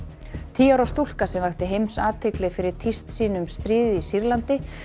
tíu ára stúlka sem vakti heimsathygli fyrir tíst sín um stríðið í Sýrlandi